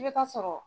I bɛ taa sɔrɔ